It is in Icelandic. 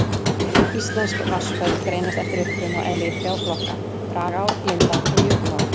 Íslensk vatnsföll greinast eftir uppruna og eðli í þrjá flokka: dragár, lindár og jökulár.